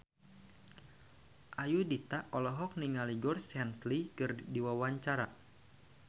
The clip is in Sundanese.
Ayudhita olohok ningali Georgie Henley keur diwawancara